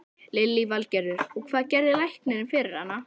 Lillý Valgerður: Og, hvað gerði læknirinn fyrir hana?